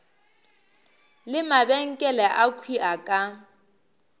le mabenkele akhwi a ka